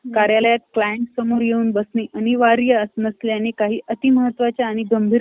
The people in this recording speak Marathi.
कार्यालयात client समोर येऊन बसणे अनिवार्य नसल्याने , काही अतिमहत्त्वाच्या आणि गंभीर ,